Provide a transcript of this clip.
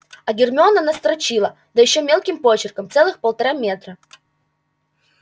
а гермиона настрочила да ещё мелким почерком целых полтора метра